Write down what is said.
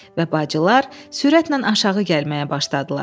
Və bacılar sürətlə aşağı gəlməyə başladılar.